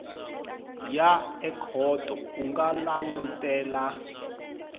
ya ekhoto u nga langutela